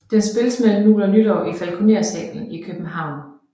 Den spilles mellem jul og nytår i Falconer salen i København